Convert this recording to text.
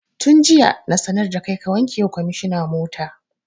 Tun jiya na sanar da kai ka wanke wa kwamishina mota!